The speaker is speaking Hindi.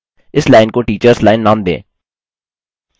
इस लाइन को टीटर्स लाइन नाम दें